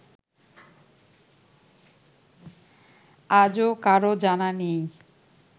আজও কারও জানা নেই